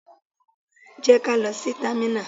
Jẹ́ kí á lọ sí támínà!